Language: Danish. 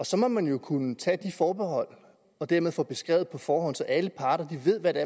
så må man kunne tage de forbehold og dermed få beskrevet det på forhånd så alle parter ved hvad det